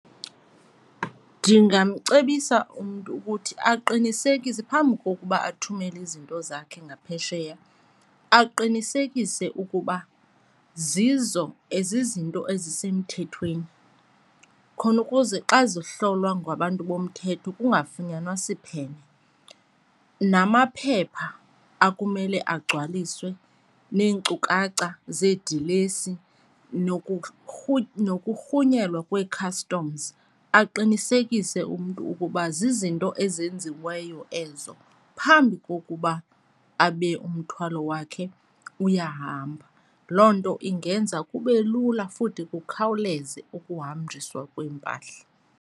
Ndingamcebisa umntu ukuthi aqinisekise phambi kokuba athumele izinto zakhe ngaphesheya, aqinisekise ukuba zizo zizinto ezisemthethweni khona ukuze xa zihlolwa ngabantu bomthetho kungafunyanwa siphene. Namaphepha akumele agcwaliswe neenkcukacha zeedilesi nokurhunyelwa kwee-customs, aqinisekise umntu ukuba zizinto ezenziweyo ezo phambi kokuba abe umthwalo wakhe uyahamba. Loo nto ingenza kube lula futhi kukhawuleze ukuhanjiswa kweempahla.